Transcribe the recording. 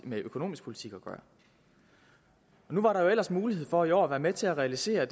med økonomisk politik at gøre nu var der ellers mulighed for i år at være med til at realisere